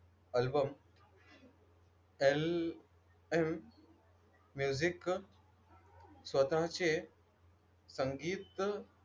album LM music स्वतःचे संगीत,